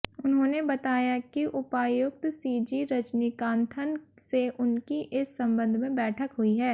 उन्होंने बताया कि उपायुक्त सीजी रजनीकांथन से उनकी इस संबंध में बैठक हुई है